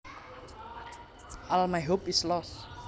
All my hope is lost